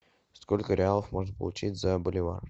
сколько реалов можно получить за боливар